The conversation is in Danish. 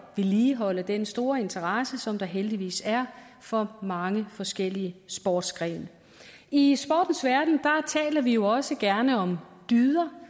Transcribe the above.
at vedligeholde den store interesse som der heldigvis er for mange forskellige sportsgrene i sportens verden taler vi jo også gerne om dyder